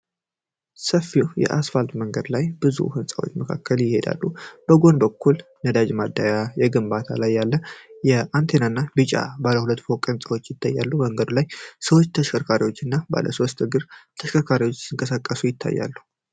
ሰፊው የአስፋልት መንገድ በብዙ ሕንፃዎች መካከል ይሄዳል። በጎን በኩል ነዳጅ ማደያ፣ በግንባታ ላይ ያለ አንቴና እና ቢጫ ባለ ሁለት ፎቅ ሕንፃ ይታያል። በመንገዱ ላይ ሰዎች፣ ተሽከርካሪዎች እና ባለ ሶስት እግር ተሽከርካሪዎች ሲንቀሳቀሱ ይታያሉ።